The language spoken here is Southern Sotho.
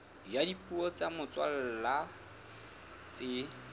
ya dipuo tsa motswalla tse